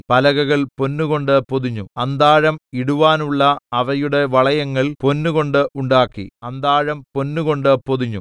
പലകകൾ പൊന്നുകൊണ്ട് പൊതിഞ്ഞു അന്താഴം ഇടുവാനുള്ള അവയുടെ വളയങ്ങൾ പൊന്നുകൊണ്ട് ഉണ്ടാക്കി അന്താഴം പൊന്നുകൊണ്ട് പൊതിഞ്ഞു